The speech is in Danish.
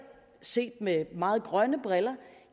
set med meget grønne briller